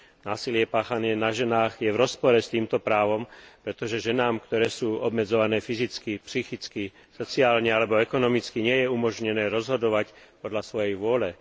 Násilie páchané na ženách je v rozpore s týmto právom, pretože ženám, ktoré sú obmedzované fyzicky, psychicky, sociálne alebo ekonomicky, nie je umožnené rozhodovať podľa svojej vôle.